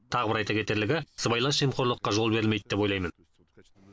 тағы бір айта кетерлігі сыбайлас жемқорлыққа жол берілмейді деп ойлаймын